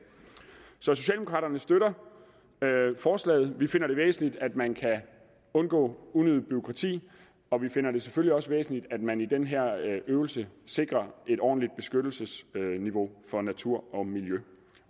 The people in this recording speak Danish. så socialdemokraterne støtter forslaget vi finder det væsentligt at man undgår unødigt bureaukrati og vi finder det selvfølgelig også væsentligt at man i den her øvelse sikrer et ordentligt beskyttelsesniveau for natur og miljø